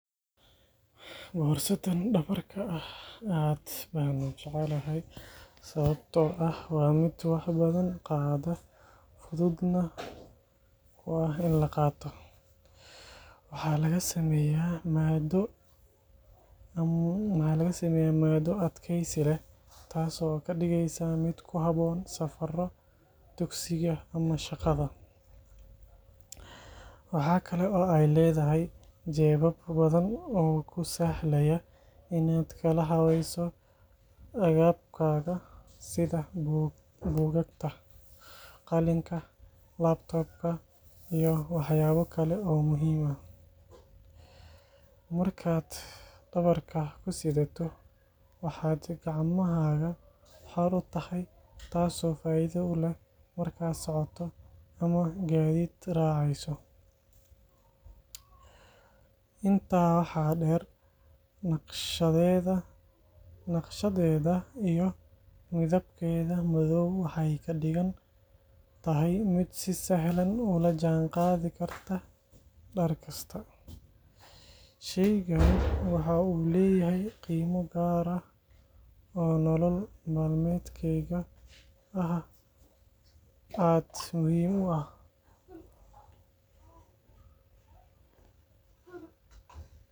Warsadan dawarka aah aad ba u jaceelahay sawabtoo aah wa mid wax bathan qaadoh, futhutnah oo aah ini laqatoh waxalagasameeyah maado adgeeysi leeh taaso kadugeysah mid kuhaboon safar tugsika amah shaqa , waxkali oo ayleedahay jebaba bathan oo kusahlaya Ina kalahaweeysoh agabkatha setha bukakagta qalinka laabtoobka iyo waxyalakali oo muhim aah, marka dawarka kusethatoh kacmaha xuur u tahay inta waxa dheer mid si sahlan ulajan qathi kartah darkasta sheeygan waxu leeyahay qiima kaar oo nolol malmeydgeetha ah aad muhim u aah .